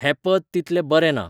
हें पद तितलें बरें ना